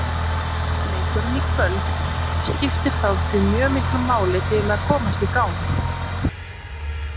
Leikurinn í kvöld skiptir þá því mjög miklu máli til að komast í gang.